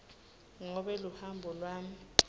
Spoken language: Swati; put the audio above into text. ngobe luhambo lwami